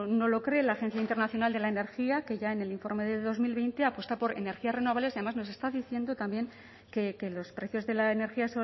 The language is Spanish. no lo cree la agencia internacional de la energía que ya en el informe de dos mil veinte apuesta por energías renovables y además nos está diciendo también que los precios de la energía